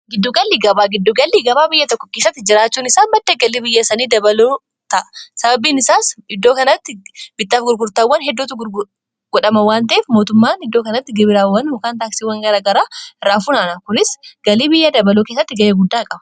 giddugallii gabaa giddugallii gabaa biyya tokko keesatti jiraachuun isaa baddha galii biyyasanii dabalootaa sababiin isaas iddoo kanatti bittaaf gurgurtaawwan heddootu godhama waanteef mootummaan iddoo kanatti gibiraawwan hukaan taaksiiwwan gara garaa irraa funana kunis galii biyya dabaloo keessatti ga'ee guddaa qaba